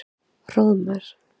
Hróðmar